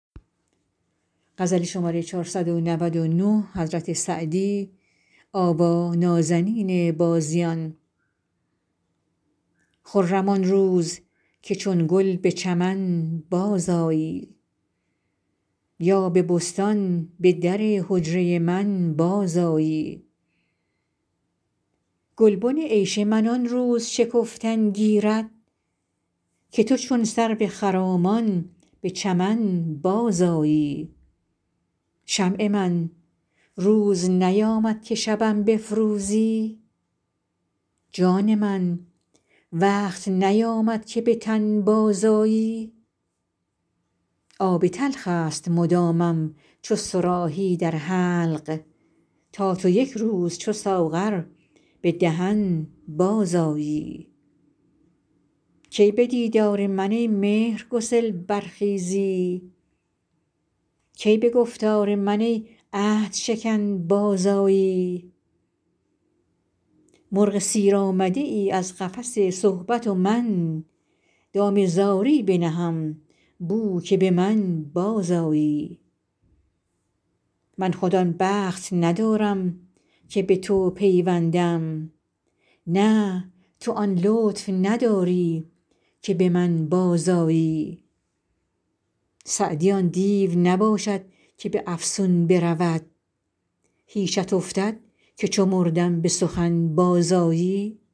خرم آن روز که چون گل به چمن بازآیی یا به بستان به در حجره من بازآیی گلبن عیش من آن روز شکفتن گیرد که تو چون سرو خرامان به چمن بازآیی شمع من روز نیامد که شبم بفروزی جان من وقت نیامد که به تن بازآیی آب تلخ است مدامم چو صراحی در حلق تا تو یک روز چو ساغر به دهن بازآیی کی به دیدار من ای مهرگسل برخیزی کی به گفتار من ای عهدشکن بازآیی مرغ سیر آمده ای از قفس صحبت و من دام زاری بنهم بو که به من بازآیی من خود آن بخت ندارم که به تو پیوندم نه تو آن لطف نداری که به من بازآیی سعدی آن دیو نباشد که به افسون برود هیچت افتد که چو مردم به سخن بازآیی